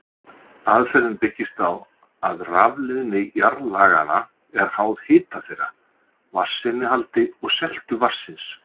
Aðferðin byggist á því að rafleiðni jarðlaganna er háð hita þeirra, vatnsinnihaldi og seltu vatnsins.